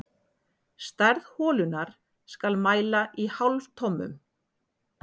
Stærð holunnar skal mæla í hálftommum.